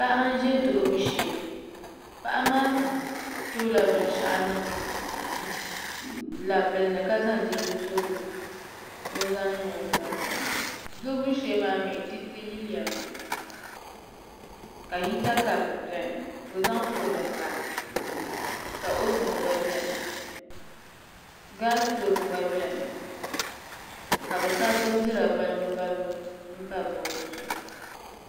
Paɣa n ʒɛ duɣubu shee paɣa maa toola binshaɣu niŋ labili ni ka zaŋ dirigu tooli ni o zaŋ niŋ o nolini duɣubu shee maa mii diriti yilimi ka hita kaap biɛni ka o zaŋ foon pa ka ovin gba biɛni gaas toov gba biɛni ka bi sabi bindira balibu balibu pa bood maa zuɣu